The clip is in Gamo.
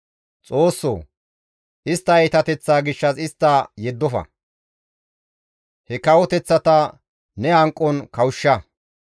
Xoossoo! Istta iitateththaa gishshas istta yeddofa; he kawoteththata ne hanqon kawushsha.